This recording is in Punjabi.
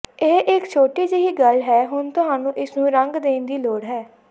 ਇਹ ਇਕ ਛੋਟੀ ਜਿਹੀ ਗੱਲ ਹੈ ਹੁਣ ਤੁਹਾਨੂੰ ਇਸਨੂੰ ਰੰਗ ਦੇਣ ਦੀ ਲੋੜ ਹੈ